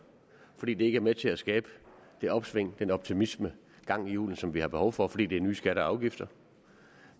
fordi det ikke er med til at skabe det opsving den optimisme og gang i hjulene som vi har behov for fordi det nye skatter og afgifter